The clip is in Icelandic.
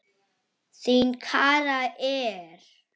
Þín, Kara Eir.